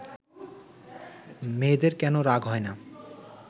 মেয়েদের কেন রাগ হয় না